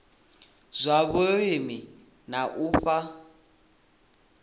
zwa vhulimi na u fha